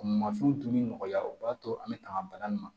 Mansinw dunni nɔgɔya u b'a to an bɛ tanga bana in ma